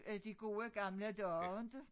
Øh de gode gamle dage inte